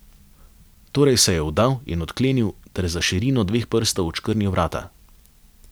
Torej se je vdal in odklenil ter za širino dveh prstov odškrnil vrata.